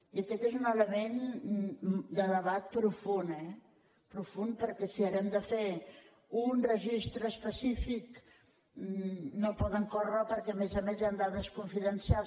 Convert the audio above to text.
i aquest és un element de debat profund eh profund perquè si ara hem de fer un registre específic no poden córrer perquè a més a més hi han dades confidencials